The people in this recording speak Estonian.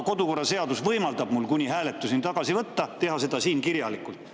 Kodukorraseadus võimaldab mul seda kuni hääletuseni tagasi võtta, teha seda siin kirjalikult.